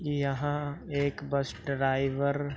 ये यहाँ एक बस ड्राईवर --